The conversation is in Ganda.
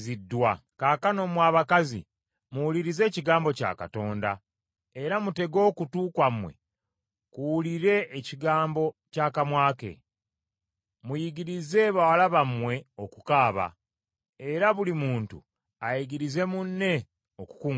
Kaakano mmwe abakazi, muwulirize ekigambo kya Katonda, era mutege okutu kwammwe kuwulire ekigambo ky’akamwa ke. Muyigirize bawala bammwe okukaaba, era buli muntu ayigirize munne okukungubaga.